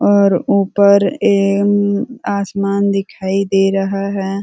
और ऊपर ए उम आसमान दिखाई दे रहा है।